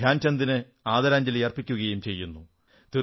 ധ്യാൻചന്ദിന് ആദരാഞ്ജലി അർപ്പിക്കുകയും ചെയ്യുന്നു